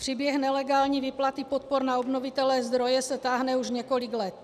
Příběh nelegální výplaty podpor na obnovitelné zdroje se táhne už několik let.